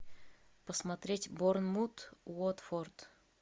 посмотреть борнмут уотфорд